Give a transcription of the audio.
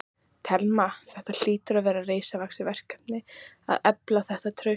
Telma: Þetta hlýtur að vera risavaxið verkefni að efla þetta traust?